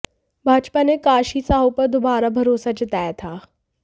भाजपा ने काशी साहू पर दोबारा भरोसा जताया था